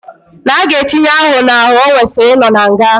Na aga etinye aho na aho owesiri ino na nga.